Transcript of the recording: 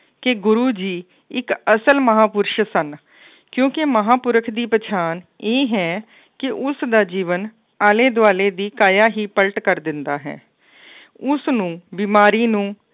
ਕਿ ਗੁਰੂ ਜੀ ਇੱਕ ਅਸਲ ਮਹਾਂਪੁਰਸ਼ ਸਨ ਕਿਉਂਕਿ ਮਹਾਂਪੁਰਖ ਦੀ ਪਛਾਣ ਇਹ ਹੈ ਕਿ ਉਸਦਾ ਜੀਵਨ ਆਲੇ ਦੁਆਲੇ ਦੀ ਕਾਇਆ ਹੀ ਪਲਟ ਕਰ ਦਿੰਦਾ ਹੈ ਉਸਨੂੰ ਬਿਮਾਰੀ ਨੂੰ